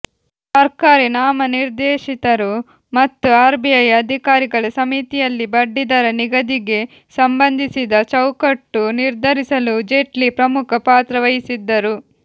ಸರ್ಕಾರಿ ನಾಮನಿರ್ದೇಶಿತರು ಮತ್ತು ಆರ್ಬಿಐ ಅಧಿಕಾರಿಗಳ ಸಮಿತಿಯಲ್ಲಿ ಬಡ್ಡಿದರ ನಿಗದಿಗೆ ಸಂಬಂಧಿಸಿದ ಚೌಕಟ್ಟು ನಿರ್ಧರಿಸಲು ಜೇಟ್ಲಿ ಪ್ರಮುಖ ಪಾತ್ರ ವಹಿಸಿದ್ದರು